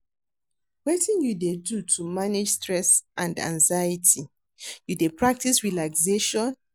Wetin you dey do to manage stress and anxiety, you dey practice relaxation?